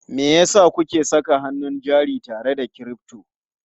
Me yasa kuke saka hannun jari tare da crypto?